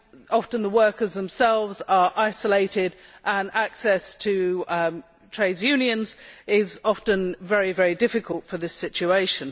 Often, the workers themselves are isolated, and access to trade unions is often very difficult in this situation.